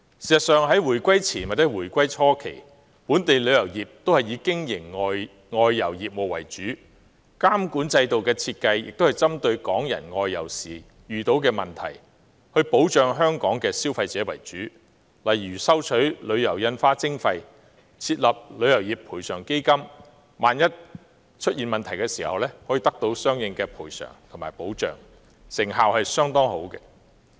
事實上，在回歸前或回歸初期，本地旅遊業均以經營外遊業務為主，監管制度的設計，也是針對港人外遊時遇到的問題，保障香港消費者為主，例如收取旅遊印花徵費及設立旅遊業賠償基金，以便港人在出現問題時，可獲得相應的賠償和保障，成效相當好。